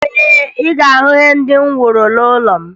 Ee, ị ga-ahụ ihe ndị m woro n'ụlọ m